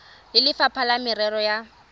le lefapha la merero ya